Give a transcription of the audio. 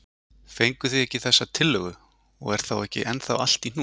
Fenguð þið ekki þessa tillögu og er þá ekki ennþá allt í hnút?